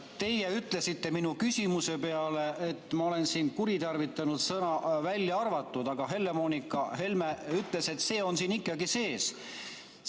Teie ütlesite minu küsimuse peale, et ma olen siin kuritarvitanud sõna "välja arvatud", aga Helle-Moonika Helme ütles, et see on siin ikkagi sees.